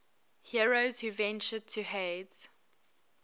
heroes who ventured to hades